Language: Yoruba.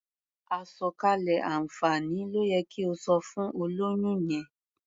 Àsọ̀kalẹ̀ àǹfààní ló yẹ kí o sọ fún olóyún yẹn.